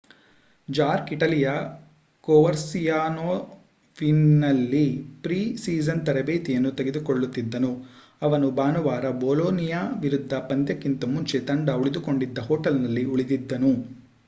ಜಾರ್ಕ್ ಇಟಲಿಯ ಕೋವರ್ಸಿಯಾನೋವಿನಲ್ಲಿ pre season ತರಬೇತಿ ಯನ್ನು ತೆಗೆದುಕೊಳ್ಳುತ್ತಿದ್ದನು ಅವನು ಭಾನುವಾರದ ಬೋಲೋ ನಿಯಾ ವಿರುದ್ಧದ ಪಂದ್ಯಕ್ಕಿಂತ ಮುಂಚೆ ತಂಡ ಉಳಿದುಕೊಂಡಿದ್ದ ಹೊಟೇಲ್ನಲ್ಲಿ ಉಳಿದಿದ್ದನು